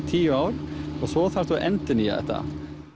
tíu ár og svo þarftu að endurnýja þetta